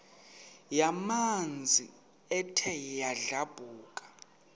yamanzi ethe yadlabhuka